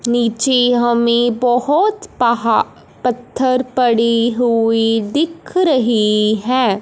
नीचे हमें बहोत पहा पत्थर पड़ी हुई दिख रही है।